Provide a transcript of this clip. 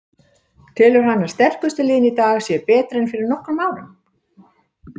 Telur hann að sterkustu liðin í dag séu betri en fyrir nokkrum árum?